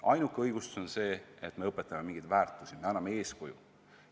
Ainuke õigustus saab olla see, et me õpetame mingeid väärtushinnanguid, toetame eeskuju andmist.